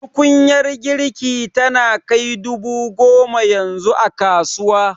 Tukunyar girki tana kai dubu goma yanzu a kasuwa